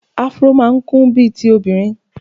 Afro máa ń kún bíi ti obìnrin.